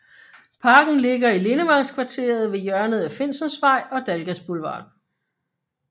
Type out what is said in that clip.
Parken ligger i Lindevangskvarteret ved hjørnet af Finsensvej og Dalgas Boulevard